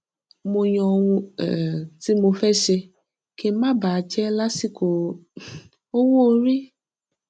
mo yàn ohun um tí mo fẹ ṣe kí n má bà á jẹ lásìkò um owó orí